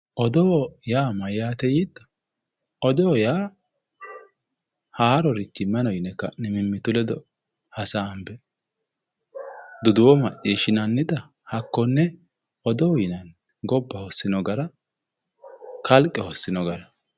Odoo yaa mayaate yiitto odoo yaa haarorichi mayi no yine ka'ne mimmitu ledo hasaambe duduwo macciishshinannita haokkonne odoo yinanni gobba hossino gara kalqe hossino gara